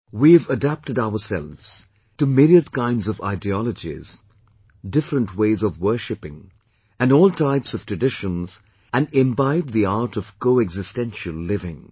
We have adapted ourselves to myriad kinds of ideologies, different ways of worshipping and all types of traditions and imbibed the art of coexistential living